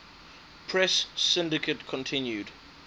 press syndicate continued